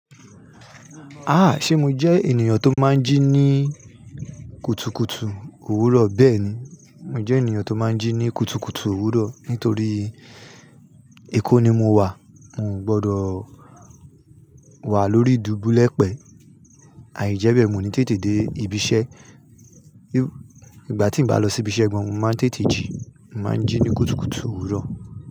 Ah! Ṣe mo jẹ́ ènìyàn tó máa ń jí ní kùtùkùtù òwúrọ̀? Bẹ́ẹ̀ni, mo jẹ́ ènìyàn tó máa ń jí ní kùtùkùtù òwúrọ̀ nítorí ekó ni mo wà, mò ń gbọdọ wà lórí ìdúbulẹ̀pẹ̀, àìijẹ́bẹ́ mi o ní tètè dé ibi iṣẹ́. Igbà tí mo bá lọ sí ibi iṣẹ́ gan, mo máa ń tètè jí, mo máa ń jí ní kùtùkùtù òwúrọ̀